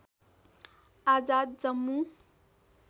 Azad Jammu